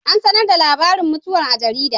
An sanar da labarin mutuwar a jarida.